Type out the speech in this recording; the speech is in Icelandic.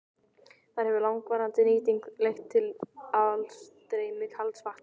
Þar hefur langvarandi nýting leitt til aðstreymis kalds vatns.